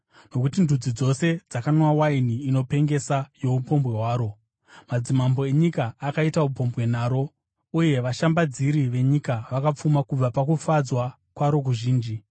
Nokuti ndudzi dzose dzakanwa waini inopengesa youpombwe hwaro. Madzimambo enyika akaita upombwe naro, uye vashambadziri venyika vakapfuma kubva pazvinofadza zvaro zvizhinji.”